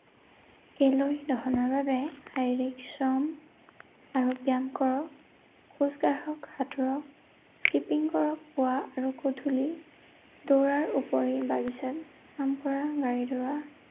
calorie দহনৰ বাবে শাৰীৰিক শ্ৰম, আৰু ব্যায়াম কৰক, খোজ কাঢ়ক, সাঁতুৰক, skipping কৰক, পুৱা আৰু গধূলি দৌৰাৰ উপৰিও বাগিচাত কাম কৰা, গাড়ী ধোৱা